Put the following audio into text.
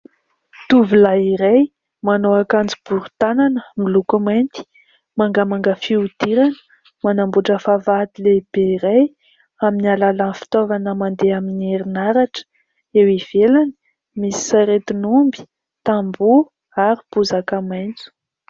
Tovolahy iray manao ankanjo bori-tanana miloko mainty, mangamanga fihodirana, manambotra vavahady lehibe iray amin'ny alalany fitaovana mandeha amin'ny herinaratra ; eo ivelany misy saretin'omby, tambo ary bozaka maintso.